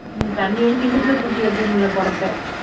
தண்ணி அடிச்சு இடுப்புல தூக்கி வைக்க முடியலை குடத்தை